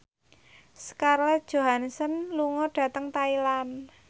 Scarlett Johansson lunga dhateng Thailand